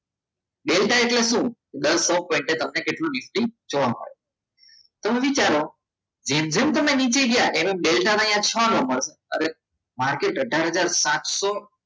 delta એટલે શું દર સો પોઇન્ટે તમને કેટલું નિફ્ટી જોવા મળે તો હવે વિચારો જેમ જેમ તમે નીચે ગયા એમ એમ છનો મળશે માર્કેટ અથાર હજાર સાત્સો